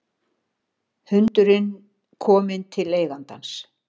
Hundurinn kominn til eigandans